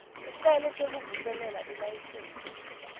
sicelo sekuvuselela ilayisensi